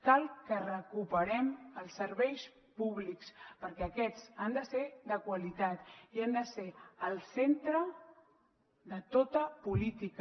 cal que recuperem els serveis públics perquè aquests han de ser de qualitat i han de ser el centre de tota política